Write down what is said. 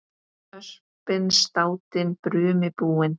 Öspin státin brumi búin.